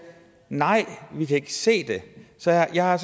nej vi kan ikke se det så jeg har